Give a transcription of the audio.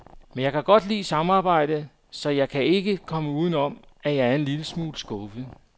Men jeg kan godt lide samarbejde, så jeg kan ikke komme uden om, at jeg er en lille smule skuffet.